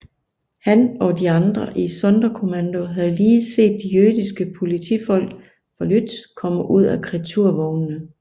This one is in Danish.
Han og de andre i Sonderkommando havde lige set de jødiske politifolk fra Łódź komme ud af kreaturvognene